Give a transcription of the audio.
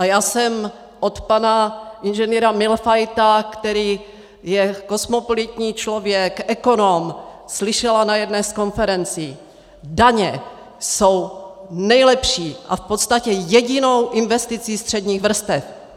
A já jsem od pana Ing. Mühlfeita, který je kosmopolitní člověk, ekonom, slyšela na jedné z konferencí: Daně jsou nejlepší a v podstatě jedinou investicí středních vrstev.